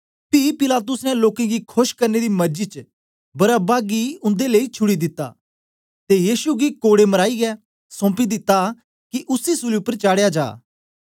पी पिलातुस ने लोकें गी खोश करने दी मरजी च बरअब्बा गी उन्दे लेई छुड़ी दिता ते यीशु गी कोड़े मराईयै सौंपी दिता कि उसी सूली उपर चाडया जा